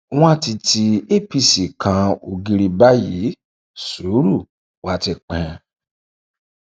wọn ti ti apc kan ògiri báyìí sùúrù wa ti pín